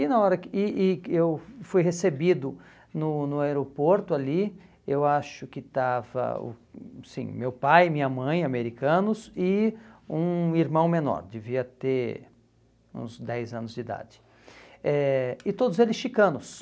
E na hora que e e que eu fui recebido no no aeroporto ali, eu acho que estava o, sim, meu pai, minha mãe, americanos, e um irmão menor, devia ter uns dez anos de idade, eh e todos eles